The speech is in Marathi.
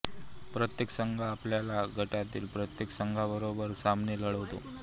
प्रत्येक संघ आपल्या गटातील प्रत्येक संघाबरोबर सामने लढवतो